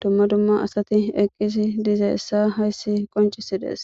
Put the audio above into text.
dumma dumma asati eqqisi dizeessa hayssi qoncisidees